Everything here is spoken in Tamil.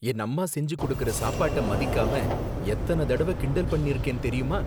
என் அம்மா செஞ்சு கொடுக்கற சாப்பாட்ட மதிக்காம எத்தன தடவ கிண்டல் பண்ணிருக்கேன் தெரியுமா